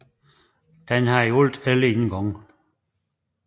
Den har i alt 11 indgange